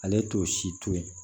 Ale t'o si to yen